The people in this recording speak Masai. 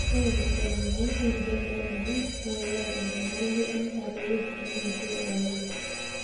ore enkibelekenyak enkijape oloingangi naa keyau enyamali endaa too woitin natii olameyu